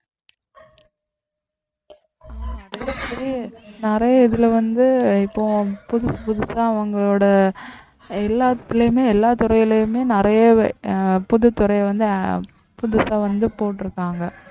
நிறைய இதுல வந்து இப்போ புதுசு புதுசா அவங்களோட எல்லாத்துலயுமே எல்லா துறையிலயுமே நிறைய அஹ் புதுத்துறை வந்து புதுசா வந்து போட்டிருக்காங்க